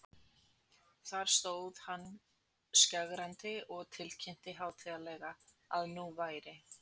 Þar stóð hann skjögrandi og tilkynnti hátíðlega, að nú væri